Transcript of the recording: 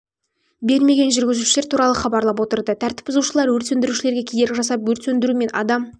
бермеген жүргізушілер туралы хабарлап отырды тәртіп бұзушылар өрт сөндірушілерге кедергі жасап өрт сөндіру мен адам